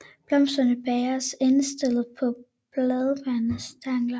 Blomsterne bæres endestillet på bladbærende stængler